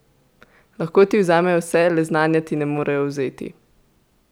Lahko ti vzamejo vse, le znanja ti ne morejo vzeti!